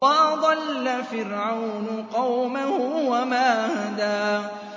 وَأَضَلَّ فِرْعَوْنُ قَوْمَهُ وَمَا هَدَىٰ